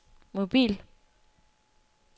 mobil